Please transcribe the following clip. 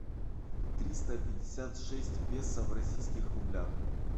триста пятьдесят шесть песо в российских рублях